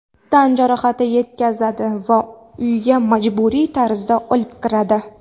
Tan jarohati yetkazadi va uyga majburiy tarzda olib kiradi.